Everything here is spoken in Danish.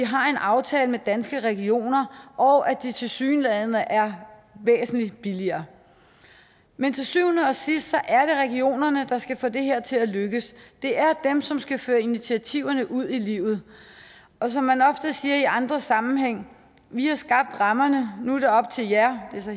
har en aftale med danske regioner og at de tilsyneladende er væsentlig billigere men til syvende og sidst er det regionerne der skal få det her til at lykkes det er dem som skal føre initiativerne ud i livet og som man ofte siger i andre sammenhænge vi har skabt rammerne nu er det op til jer det er så